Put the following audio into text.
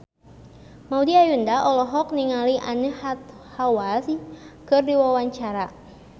Maudy Ayunda olohok ningali Anne Hathaway keur diwawancara